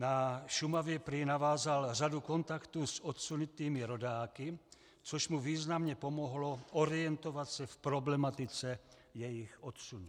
Na Šumavě prý navázal řadu kontaktů s odsunutými rodáky, což mu významně pomohlo orientovat se v problematice jejich odsunu.